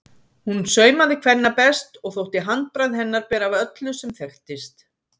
Hún saumaði kvenna best og þótti handbragð hennar bera af öllu sem þekktist.